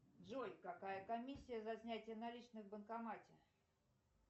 джой какая комиссия за снятие наличных в банкомате